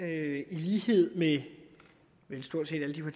er i lighed med vel stort set alle de